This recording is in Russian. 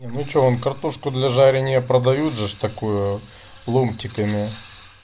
ну что вам картошку для жарения продают же ж такую ломтиками